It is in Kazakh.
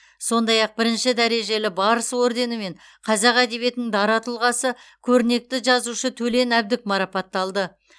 сондай ақ бірінші дәрежелі барыс орденімен қазақ әдебиетінің дара тұлғасы көрнекті жазушы төлен әбдік марапатталды